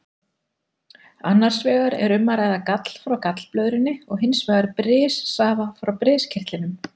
Annars vegar er um að ræða gall frá gallblöðrunni og hins vegar brissafa frá briskirtlinum.